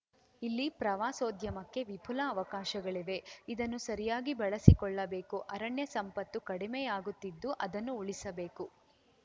ಇಲ್ಲಿ ಪ್ರವಾಸೋದ್ಯಮಕ್ಕೆ ವಿಪುಲ ಅವಕಾಶಗಳಿವೆ ಇದನ್ನು ಸರಿಯಾಗಿ ಬಳಸಿಕೊಳ್ಳಬೇಕು ಅರಣ್ಯ ಸಂಪತ್ತು ಕಡಿಮೆಯಾಗುತ್ತಿದ್ದು ಅದನ್ನು ಉಳಿಸಬೇಕು